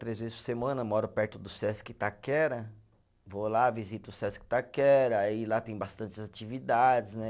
Três vezes por semana moro perto do Sesc Itaquera, vou lá, visito o Sesc Itaquera, aí lá tem bastantes atividades, né?